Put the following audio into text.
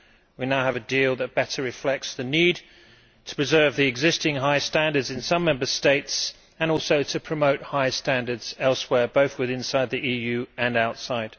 We now have a deal that better reflects the need to preserve the existing high standards in some Member States and also to promote high standards elsewhere, both within the EU and outside.